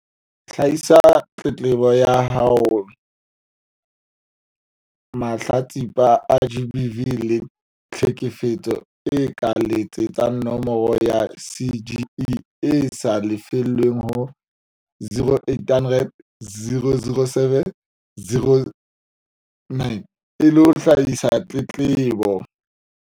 Hlahisa tletlebo ya haoMahlatsipa a GBV le tlheke fetso a ka letsetsa nomoro ya CGE e sa lefellweng ho 0800 007 709 e le ho hlahisa tletlebo.